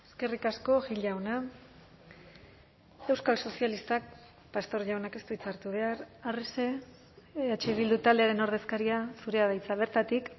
eskerrik asko gil jauna euskal sozialistak pastor jaunak ez du hitza hartu behar arrese eh bildu taldearen ordezkaria zurea da hitza bertatik